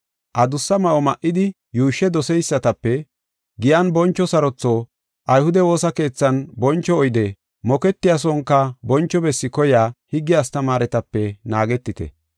“Adussa ma7o ma7idi yuushshe doseysatape, giyan boncho sarotho, ayhude woosa keethan boncho oyde, moketiya sonka boncho bessi koyiya higge astamaaretape naagetite.